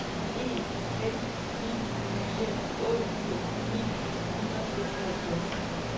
en fem ni fire otteogfirs ni hundrede og seksoghalvtreds